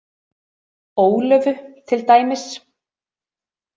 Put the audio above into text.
Ólöfu til dæmis.